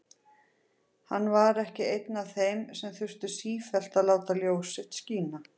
Hann var ekki einn af þeim sem þurftu sífellt að láta ljós sitt skína.